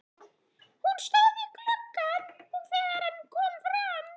Hún stóð við gluggann þegar hann kom fram.